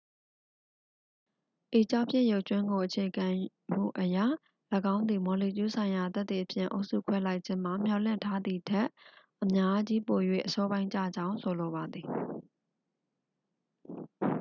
"""ဤကျောက်ဖြစ်ရုပ်ကြွင်းကိုအခြေခံမှုအရ၊ ၎င်းသည် မော်လီကျူးဆိုင်ရာသက်သေဖြင့် အုပ်စုခွဲလိုက်ခြင်းမှာ မျှော်လင့်ထားသည်ထက် အများကြီးပို၍ အစောပိုင်းကျကြောင်း ဆိုလိုပါသည်။